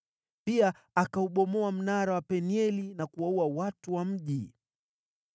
Pia akaubomoa mnara wa Penieli na kuwaua watu wa mji.